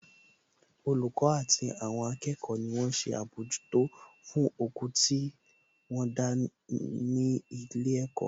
Olùkọ́ àti àwọn akẹ́kọ̀ọ́ ni wón ṣe àbójútó fún oko tí wọ́n ń dá ní ilé ẹ̀kọ́